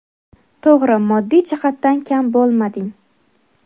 To‘g‘ri, moddiy jihatdan kam bo‘lmading.